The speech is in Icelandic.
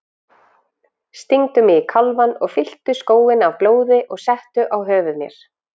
Stingdu mig í kálfann og fylltu skóinn af blóði og settu á höfuð mér.